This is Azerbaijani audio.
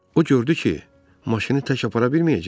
O gördü ki, maşını tək apara bilməyəcək.